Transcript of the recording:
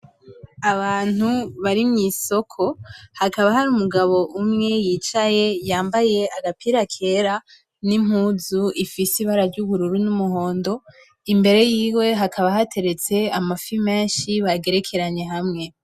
Abantu bari mw'isoko, hakaba hari umugabo umwe yicaye yambaye agapira kera n'impuzu ifise ibara ry'ubururu n'umuhondo, imbere yiwe hakaba hateretse amafi menshi bagerekeranye hamwe.